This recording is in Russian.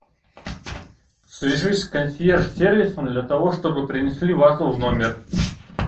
свяжись с консьерж сервисом для того чтобы принесли вазу в номер